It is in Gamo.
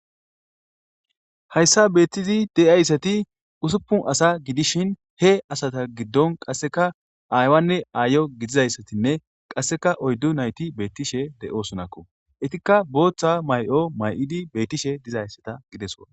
hayssa beettizi de7ayssati usuppun asa gidishin he asata giddon qasseka aaywanne aayo gidizayssatinne qasseka oyddu nayti beettishe de7osunakko itikka booththa may7o may7idi beettishe dizayssata gideso